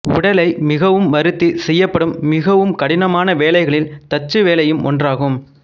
உடலை மிகவும் வறுத்தி செய்யப்படும் மிகவும் கடினமான வேலைகளில் தச்சு வேலையும் ஒன்றாகும்